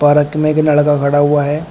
Park मे एक लड़का खड़ा हुआ है।